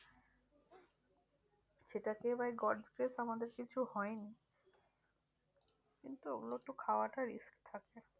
সেটা খেয়ে by god bless আমাদের কিছু হয়নি কিন্তু ওগুলো একটু খাওয়াটা risk থাকে।